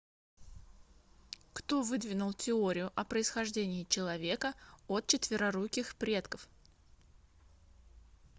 кто выдвинул теорию о происхождении человека от четвероруких предков